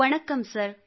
ವಣಕ್ಕಂ sir